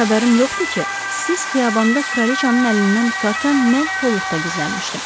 Necə xəbərim yoxdur ki, siz xiyabanda kraliçanın əlindən tutarkən mən kolluqda gizlənmişdim.